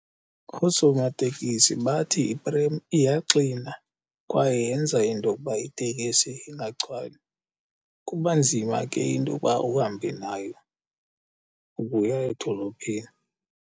Oosomatekisi bathi iprem iyaxina kwaye yenza into okuba itekisi ingagcwali. Kuba nzima ke into uba uhambe nayo ukuya edolophini.